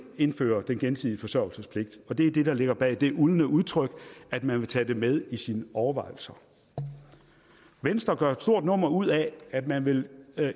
indføre den gensidige forsørgelsespligt og det er så det der ligger bag det uldne udtryk at man vil tage det med i sine overvejelser venstre gør også et stort nummer ud af at man vil